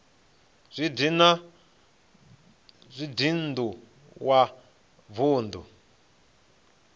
zwa dzinn ḓu wa vunḓu